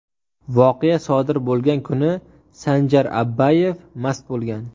Voqea sodir bo‘lgan kuni Sanjar Abbayev mast bo‘lgan.